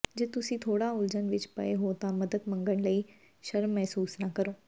ਜੇ ਤੁਸੀਂ ਥੋੜਾ ਉਲਝਣ ਵਿਚ ਪਏ ਹੋ ਤਾਂ ਮਦਦ ਮੰਗਣ ਲਈ ਸ਼ਰਮ ਮਹਿਸੂਸ ਨਾ ਕਰੋ